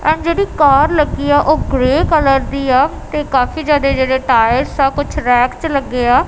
ਇਹ ਜੇੜੀ ਕਾਰ ਲੱਗੀ ਆ ਉਹ ਗਰੇ ਕਲਰ ਦੀ ਆ ਤੇ ਕਾਫੀ ਜਿਆਦਾ ਜਿਹੜੇ ਟਾਇਰਸ ਆ ਕੁਝ ਰੈਕ ਚ ਲੱਗੇ ਆ।